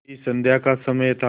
वही संध्या का समय था